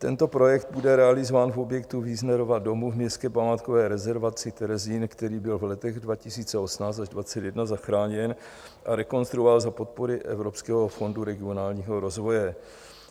Tento projekt bude realizován v objektu Wiesnerova domu v městské památkové rezervaci Terezín, který byl v letech 2018 až 2021 zachráněn a rekonstruován za podpory Evropského fondu regionálního rozvoje.